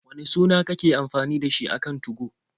Wane suna kake amfani da shi a kan 2go?